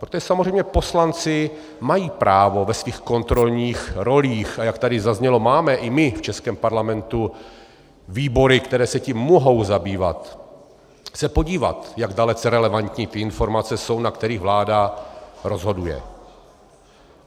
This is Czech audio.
Protože samozřejmě poslanci mají právo ve svých kontrolních rolích, a jak tady zaznělo, máme i my v českém parlamentu výbory, které se tím mohou zabývat, se podívat, jak dalece relevantní ty informace jsou, dle kterých vláda rozhoduje.